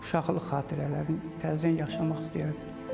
Uşaqlıq xatirələrimi təzdən yaşamaq istəyərdim.